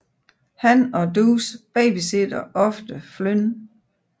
Han og Deuce babysitter ofte Flynn